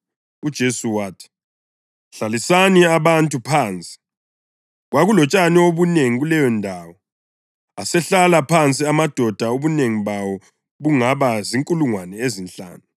UJesu wathi, “Hlalisani abantu phansi.” Kwakulotshani obunengi kuleyondawo, asehlala phansi (amadoda ubunengi bawo bungaba zinkulungwane ezinhlanu).